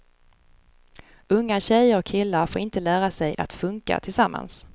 Unga tjejer och killar får inte lära sig att funka tillsammans.